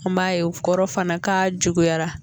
N b'a ye o kɔrɔ fana k'a juguyara